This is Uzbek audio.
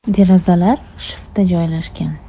Derazalar shiftda joylashgan.